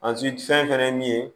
fɛn fɛnɛ ye min ye